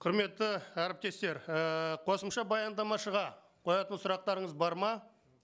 құрметті әріптестер ііі қосымша баяндамашыға қоятын сұрақтарыңыз бар ма